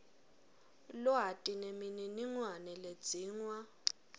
lwati nemininingwane ledzingwa